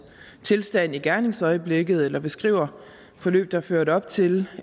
tilstand i gerningsøjeblikket eller beskriver forløbet der førte op til